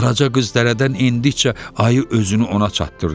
Qaraca qız dərədən endikcə ayı özünü ona çatdırdı.